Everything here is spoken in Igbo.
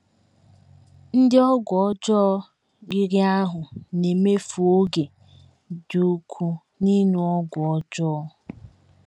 Ndị ọgwụ ọjọọ riri ahụ́ na - emefu oge dị ukwuu n’ịṅụ ọgwụ ọjọọ.